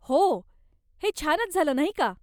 हो! हे छानच झालं नाही का?